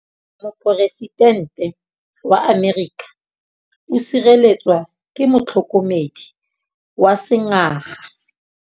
Poresitêntê wa Amerika o sireletswa ke motlhokomedi wa sengaga.